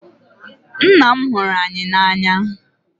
Ńnà m hụrụ anyị na anya.